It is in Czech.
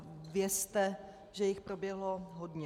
A vězte, že jich proběhlo hodně.